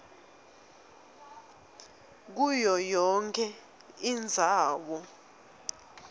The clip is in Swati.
kuyo yonkhe indzawo